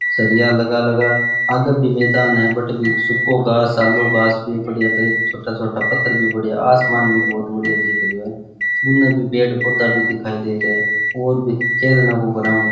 सरिया लगा लगा आगे भी मैदान है बठ भी सुखो घांस आलो घांस पड़िया कई छोटा छोटा पत्थर भी सरिया लगा भी बढ़िया आसमान भी बढ़िया दिख रे है उनने भी पेड़ पौधा भी दिखाई दे रहे है और भी खेलन को ग्राउंड --